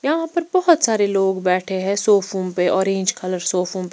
यहां पर बहुत सारे लोग बैठे हैं सोफों पे ऑरेंज कलर सोफों --